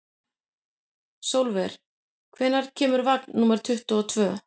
Sólver, hvenær kemur vagn númer tuttugu og tvö?